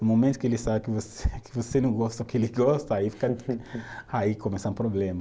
No momento que ele sabe que você, que você não gosta do que ele gosta, aí fica, aí começa um problema.